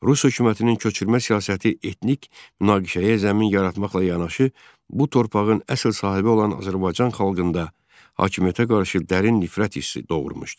Rus hökumətinin köçürmə siyasəti etnik nakişəyə zəmin yaratmaqla yanaşı, bu torpağın əsl sahibi olan Azərbaycan xalqında hakimiyyətə qarşı dərin nifrət hissi doğurmuşdu.